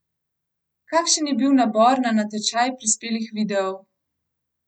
Kakšen je bil nabor na natečaj prispelih videov?